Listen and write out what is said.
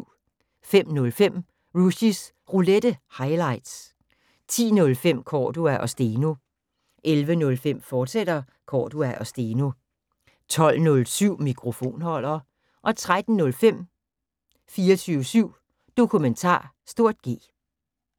05:05: Rushys Roulette – highlights 10:05: Cordua & Steno 11:05: Cordua & Steno, fortsat 12:07: Mikrofonholder 13:05: 24syv Dokumentar (G)